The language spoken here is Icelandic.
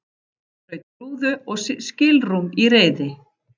Braut rúðu og skilrúm í reiði